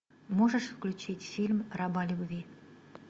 можешь включить фильм раба любви